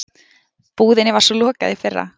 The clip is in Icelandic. Búðinni var svo lokað í fyrra.